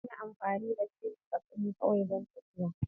Zan yi amfani da jirgin kasa ne kawai don tafiya.